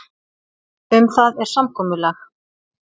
Um það er samkomulag.